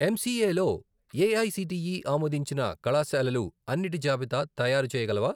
MCA లో AICTE ఆమోదించిన కళాశాలలు అన్నిటి జాబితా తయారుచేయగలవా?